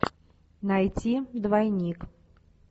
найти двойник